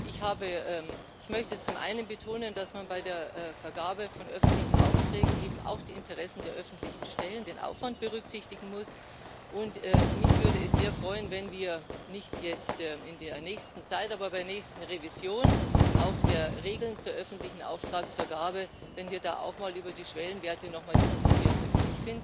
Ich möchte zum einen betonen, dass man bei der Vergabe von öffentlichen Aufträgen eben auch die Interessen der öffentlichen Stellen und den Aufwand berücksichtigen muss. Und mich würde es sehr freuen, wenn wir nicht jetzt, nicht in der nächsten Zeit, aber bei der nächsten Revision der Regeln zur öffentlichen Auftragsvergabe auch nochmal über die Schwellenwerte diskutieren würden.